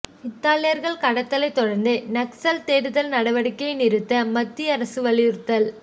இத்தாலியர்கள் கடத்தலைத் தொடர்ந்து நக்சல் தேடுதல் நடவடிக்கையை நிறுத்த மத்திய அரசு வலியுறுத்தல்